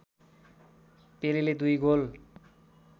पेलेले दुई गोल